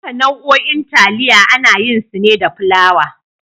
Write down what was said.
Duka nau'o'in taliya ana yin su ne da fulawa.